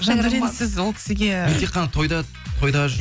жандәурен сіз ол кісіге мен тек қана тойда